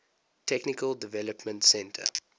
technical development center